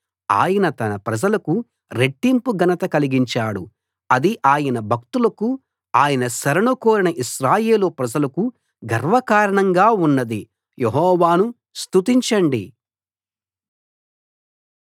ఆయన తన ప్రజలకు రెట్టింపు ఘనత కలిగించాడు అది ఆయన భక్తులకు ఆయన శరణు కోరిన ఇశ్రాయేలు ప్రజలకు గర్వకారణంగా ఉన్నది యెహోవాను స్తుతించండి